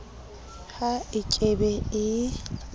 ha e ke be e